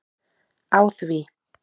Á því